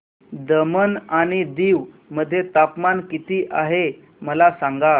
दमण आणि दीव मध्ये तापमान किती आहे मला सांगा